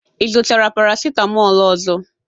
ị zụtara paracetamol ọzọ?